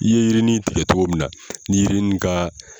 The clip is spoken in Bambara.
I ye yirinin tigɛ cogo min na ni yirinin ka